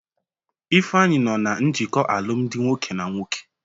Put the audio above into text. Ifeanyi nọ na njikọ alụmdi nwoke na nwoke.